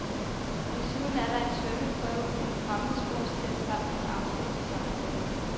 Desuden er der en svømmeprøve, en fremmedsprogstest samt en afsluttende samtale.